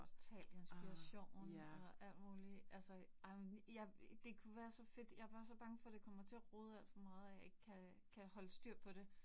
Total inspiration og alt muligt altså ej men jeg det kunne være så fedt, jeg bare bange for, det kommer til at rode alt for meget, at jeg ikke kan kan holde styr på det